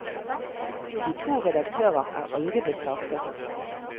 De to redaktører er aldri blitt saksøkt.